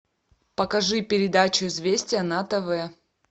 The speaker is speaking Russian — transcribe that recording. покажи передачу известия на тв